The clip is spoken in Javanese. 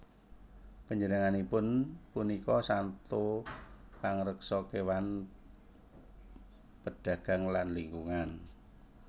Panjenenganipun punika santo pangreksa kéwan pedagang lan lingkungan